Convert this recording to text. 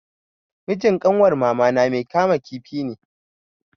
Mijin kanwar mamana mai kama kifi ne.